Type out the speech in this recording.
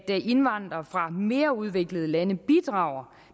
indvandrere fra mere udviklede lande bidrager